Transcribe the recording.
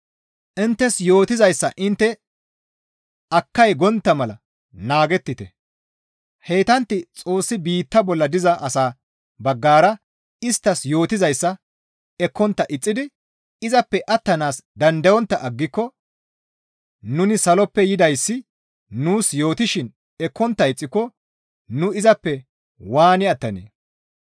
Inttes yootizayssa intte akkay gontta mala naagettite; heytantti Xoossi biitta bolla diza asa baggara isttas yootizayssa ekkontta ixxidi izappe attanaas dandayontta aggiko nuni saloppe yidayssi nuus yootishin ekkontta ixxiko nu izappe waani attanee?